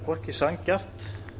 hvorki sanngjarnt